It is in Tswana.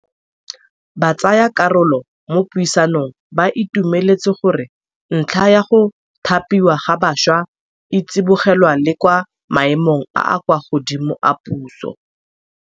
Batsayakarolo mo puisanong ba itumeletse gore ntlha ya go thapiwa ga baswa e tsibogelwa le kwa maemong a a kwa godimo a puso.